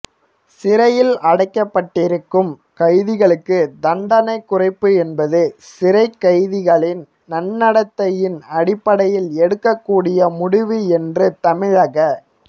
சிறையில் அடைக்கப்பட்டிருக்கும் கைதிகளுக்கு தண்டனை குறைப்பு என்பது சிறைக் கைதிகளின் நன்னடத்தையின் அடிப்படையில் எடுக்கக் கூடிய முடிவு என்று தமிழக